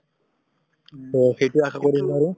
so সেইটোৱেই আশা কৰিছোঁ আৰু।